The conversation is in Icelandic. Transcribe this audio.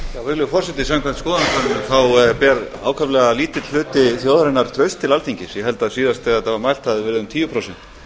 virðulegi forseti samkvæmt skoðanakönnunum ber ákaflega lítill hluti þjóðarinnar traust til alþingis ég held að síðast þegar þetta var mælt hafi það verið um tíu prósent